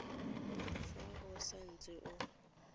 fa o sa ntse o